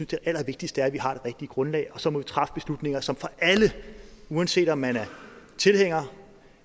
det allervigtigste er at vi har det rigtige grundlag og så må vi træffe beslutninger som for alle uanset om man er tilhænger